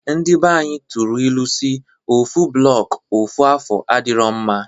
Ndi banyị tụrụ ilu si: ofu blọọk ofu afọ adirọ mma.